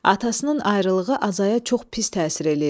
Atasının ayrılığı Azaya çox pis təsir eləyirdi.